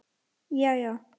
Já, já.